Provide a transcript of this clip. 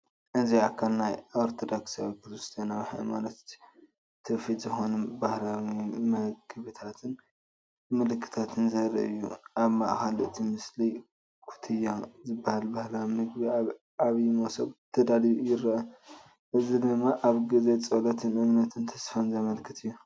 እዚ ኣካል ናይ ኦርቶዶክሳዊ ክርስትያናዊ ሃይማኖታዊ ትውፊት ዝኾኑ ባህላዊ መግብታትን ምልክታትን ዘርኢ እዩ። ኣብ ማእከል እቲ ምስሊ "ኩትያ" ዝበሃል ባህላዊ ምግቢ ኣብ ዓቢይ መሶብ ተዳልዩ ይርአ። እዚ ድማ ኣብ ግዜ ጸሎት እምነትን ተስፋን ዘመልክት እዩ።